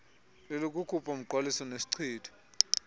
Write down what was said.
lelokukhupha umngqwaliso nesichitho